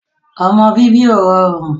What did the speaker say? ọmọ bíbí ò rọrùn